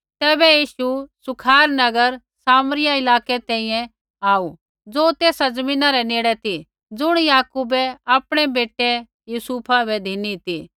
तैबै यीशु सुखार नगर सामरिया इलाकै तैंईंयैं आऊ ज़ो तेसा ज़मीना रै नेड़ ती ज़ुण याकूबै आपणै बेटै यूसुफा बै धिनी ती